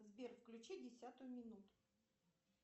сбер включи десятую минуту